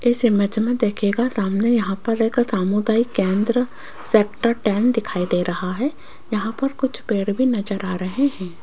इस इमेज में देखिएगा सामने यहां पर एक सामुदायिक केंद्र सेक्टर टेन दिखाई दे रहा है यहां पर कुछ पेड़ भी नजर आ रहें हैं।